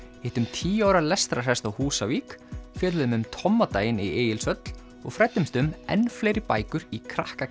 hittum tíu ára lestrarhest á Húsavík fjölluðum um Tommadaginn í Egilshöll og fræddumst um enn fleiri bækur í krakka